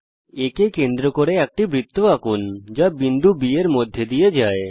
A কে কেন্দ্র করে একটি বৃত্ত আঁকুন যা বিন্দু B এর মধ্যে দিয়ে যায়